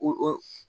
O o